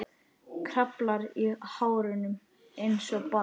Kraflar í hárunum einsog barn.